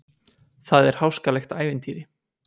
Það er háskalegt ævintýri.